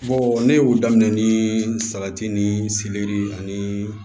ne y'o daminɛ ni salati ni selɛri ani